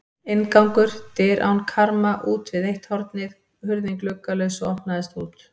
Inngangur: dyr án karma útvið eitt hornið, hurðin gluggalaus og opnaðist út.